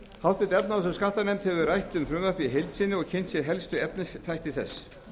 háttvirtrar efnahags og skattanefnd hefur rætt um frumvarpið í heild sinni og kynnt sér helstu efnisþætti þess